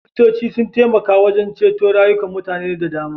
Likitoci sun taimaka wajen ceto rayukan mutane da dama.